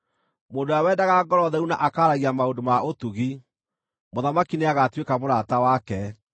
Mũndũ ũrĩa wendaga ngoro theru na akaaragia maũndũ ma ũtugi, mũthamaki nĩagatuĩka mũrata wake.